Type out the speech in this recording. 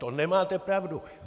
To nemáte pravdu.